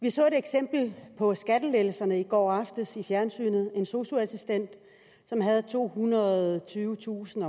vi så et eksempel på skattelettelserne i går aftes i fjernsynet en sosu assistent som havde tohundrede og tyvetusind